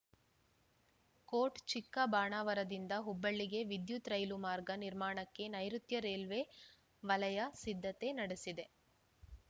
coat ಚಿಕ್ಕ ಬಾಣಾವರದಿಂದ ಹುಬ್ಬಳ್ಳಿಗೆ ವಿದ್ಯುತ್‌ ರೈಲು ಮಾರ್ಗ ನಿರ್ಮಾಣಕ್ಕೆ ನೈರುತ್ಯ ರೈಲ್ವೆ ವಲಯ ಸಿದ್ಧತೆ ನಡೆಸಿದೆ